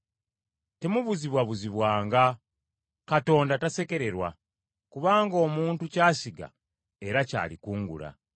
Temubuzibwabuzibwanga, Katonda tasekererwa, kubanga omuntu ky’asiga era ky’alikungula.